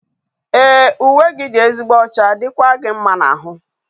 Ee uwe gi di ezigbo ocha, dikwa gi mma na ahu